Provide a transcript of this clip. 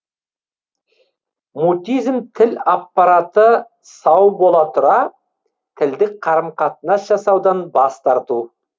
мутизм тіл аппараты сау бола тұра тілдік қарым қатынас жасаудан бас тарту